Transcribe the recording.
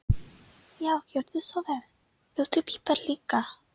Já, gjörðu svo vel. Viltu pipar líka?